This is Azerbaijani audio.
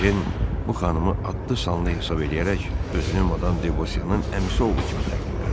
Ejen bu xanımı adlı-sanlı hesab eləyərək özünü madam Devosyanın əmisi oğlu kimi təqdim elədi.